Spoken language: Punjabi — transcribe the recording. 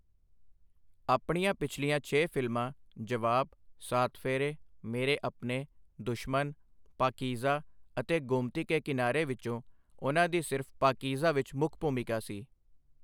ਆਪਣੀਆਂ ਪਿਛਲੀਆਂ ਛੇ ਫ਼ਿਲਮਾਂ 'ਜਵਾਬ', 'ਸਾਤ ਫੇਰੇ', 'ਮੇਰੇ ਅਪਨੇ', 'ਦੁਸ਼ਮਨ', 'ਪਾਕਿਜ਼ਾਹ' ਅਤੇ 'ਗੋਮਤੀ ਕੇ ਕਿਨਾਰਾ' ਵਿੱਚੋਂ ਉਨ੍ਹਾਂ ਦੀ ਸਿਰਫ਼ 'ਪਾਕੀਜ਼ਾ' ਵਿੱਚ ਮੁੱਖ ਭੂਮਿਕਾ ਸੀ।